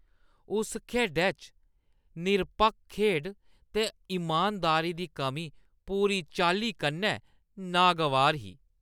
उस खेढै च निरपक्ख खेढ ते इमानदारी दी कमी पूरी चाल्ली कन्नै नागवार ही।